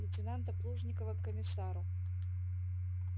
лейтенанта плужникова к комиссару